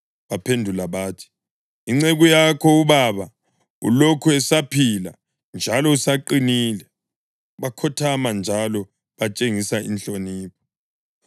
Baphendula bathi, “Inceku yakho, ubaba, ulokhu esaphila njalo usaqinile.” Bakhothama njalo betshengisa inhlonipho.